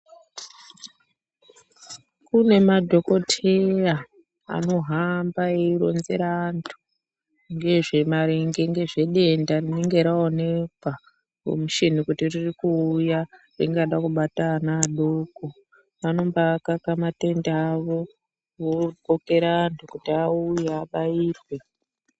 Kune madhokoteya anohamba eironzera antu maringe ngezvedenda rinenge raonekwa ngemushini kuti riri kuuya ringada kubata ana adoko. Vanomba kaka matende avo vokokera antu kuti auye abairwe.